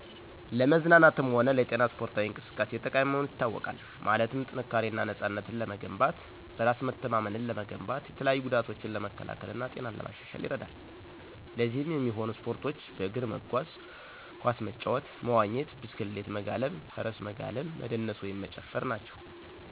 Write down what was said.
ለመዝናናት ሆነ ለጤና ሰፖርታዊ እንቅሰቃሴ ጠቃሚ መሆኑ ይታወቃል። ማለትም ጥንካሪና ነፅነትን ለመገንባት፣ በራሰ መተማመንን ለመገንባት፣ የተለያዩ ጎዳቶችን ለመከላከል እና ጤናን ለማሻሻል ይርዳል። ለዚህም የሚሆኖ ሰፖርቶች በእግር መጎዝ፣ ኮሰ መጫወት፣ መዎኘት፣ ብሰክሌት መጋለብ፣ ፍርሰ መጋለብ፣ መደነሰ ወይም መጨፍር ናቸው።